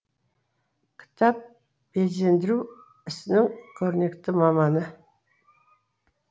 кітап безендіру ісінің көрнекті маманы